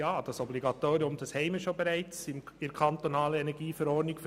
Ja, dieses Obligatorium besteht bereits in der kantonalen Energieverordnung (KEnV).